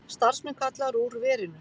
Starfsmenn kallaðir úr verinu